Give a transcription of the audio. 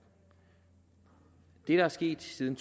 er sket siden